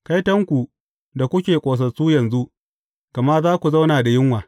Kaitonku da kuke ƙosassu yanzu, gama za ku zauna da yunwa.